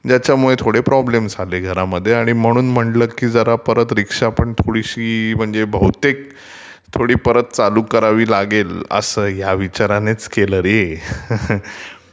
ज्याच्यमुळे जरा थोडे प्रॉब्लेम्स झाले घरामध्ये आणि म्हणून म्हटलं की जरा परत रीक्षा थोडीशी म्हणजे बहुतेक थोडी परत चालू करावी लागेल ह्या विचारानेच केलं रे.